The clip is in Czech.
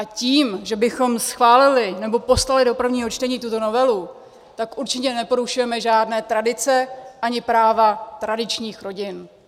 A tím, že bychom schválili nebo poslali do prvního čtení tuto novelu, tak určitě neporušujeme žádné tradice ani práva tradičních rodin.